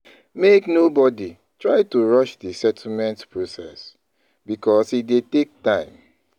Make nobody try to rush di settlement process because e dey take time